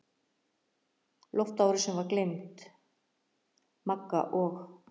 Loftárásin var gleymd, Magga og